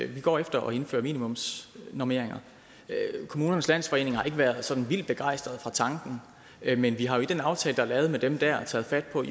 vi går efter at indføre minimumsnormeringer kommunernes landsforening har ikke været sådan vildt begejstrede for tanken men vi har jo i den aftale der dér er lavet med dem taget fat på at